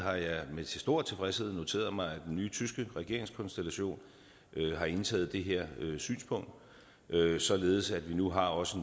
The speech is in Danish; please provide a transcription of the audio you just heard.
med stor tilfredshed noteret mig at den nye tyske regeringskonstellation har indtaget det her synspunkt således at vi nu også